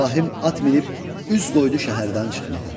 İbrahim at minib üz qoydu şəhərdən çıxmağa.